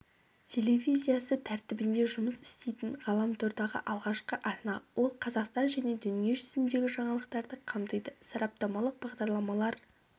телевизиясы тәртібінде жұмыс істейтін ғаламтордағы алғашқы арна ол қазақстан және дүние жүзіндегі жаңалықтарды қамтиды сараптамалық бағдарламалар